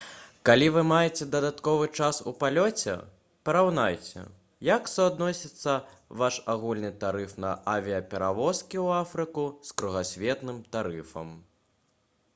калі вы маеце дадатковы час у палёце параўнайце як суадносіцца ваш агульны тарыф на авіяперавозкі ў афрыку з кругасветным тарыфам